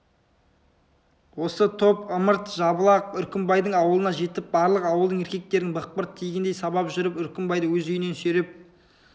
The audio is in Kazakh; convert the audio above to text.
осы топ ымырт жабыла үркімбайдың аулына жетіп барлық ауылдың еркектерін бықпырт тигендей сабап жүріп үркімбайды өз үйінен сүйреп